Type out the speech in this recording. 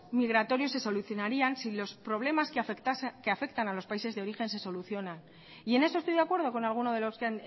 migratorios se solucionarían si los problemas que afectan a los países de origen se solucionan y en eso estoy de acuerdo con algunos de los que